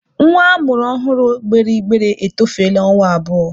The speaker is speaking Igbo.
Nwa a mụrụ ọhụrụ gbere igbere etofeele ọnwa abụọ.